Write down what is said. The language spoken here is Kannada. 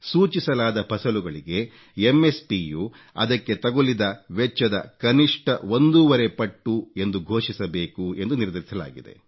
ಸೂಚಿಸಲಾದ ಫಸಲುಗಳಿಗೆ ಒSP ಯು ಅದಕ್ಕೆ ತಗುಲಿದ ವೆಚ್ಚದ ಕನಿಷ್ಠ ಒಂದೂವರೆ ಪಟ್ಟು ಎಂದು ಘೋಸಿಸಬೇಕು ಎಂದು ನಿರ್ಧರಿಸಲಾಗಿದೆ